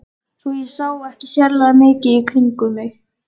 Svo ég sá ekki sérlega mikið í kringum mig.